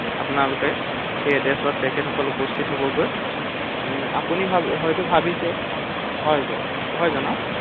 আপোনালোকে সেই এডৰেচত তেখেতসকল উপস্হিত হবগৈ ৷ আপুনি হয়তো ভাবিছে, হয় কওঁক হয় জনাওঁক ৷